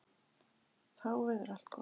Þá verður allt gott.